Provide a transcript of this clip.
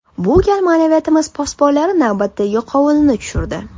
Bu gal ma’naviyatimiz posbonlari navbatdagi qovunini tushirdi.